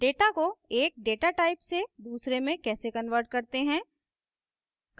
data को एक data type से दूसरे में कैसे convert करते हैं